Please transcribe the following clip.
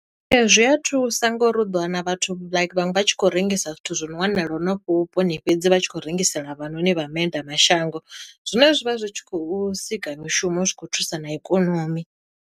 Ee zwi a thusa ngori u ḓo wana vhathu luke vhaṅwe vha tshi khou rengisa zwithu zwono wanala hanefho vhuponi fhedzi vha tshi khou rengisela vha noni vha maendela mashango, zwine zwivha zwi tshi khou sika mishumo zwi khou thusa na ikonomi.